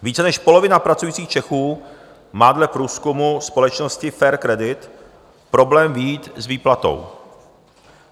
Více než polovina pracujících Čechů má dle průzkumu společnosti Fair Credit problém vyjít s výplatou.